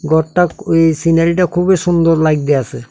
গরটা এই সিনারিটা -টা খুবই সুন্দর লাইগতাছে।